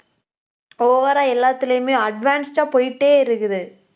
over ஆ எல்லாத்துலயுமே advanced ஆ போயிட்டே இருக்குது